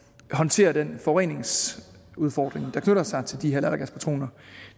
håndtere den forureningsudfordring der knytter sig til de her lattergaspatroner